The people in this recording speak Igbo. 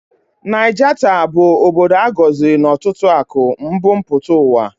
Naijata bụ obodo a gọziri na ọtụtụ akụ mbu mpụta ụwa